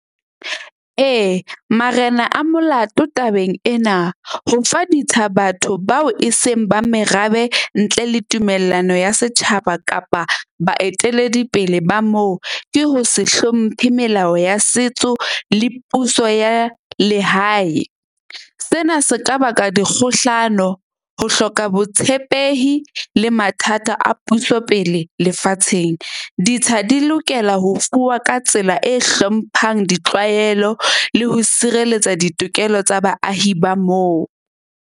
Ee, marena a molato tabeng ena, ho fa ditsha batho bao e seng ba merabe ntle le tumellano ya setjhaba kapa baeteledipele ba moo. Ke ho se hlomphe melao ya setso le puso ya lehae. Sena se ka baka dikgohlano, ho hloka botshepehi le mathata a puso pele lefatsheng. Ditsha di lokela ho fuwa ka tsela e hlomphang ditlwaelo le ho sireletsa ditokelo tsa baahi ba moo.